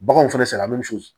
Baganw fɛnɛ salati